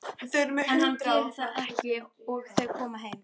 En hann gerir það ekki og þau koma heim.